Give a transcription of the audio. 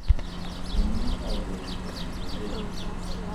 Ngama nokao gweno koni kawuono?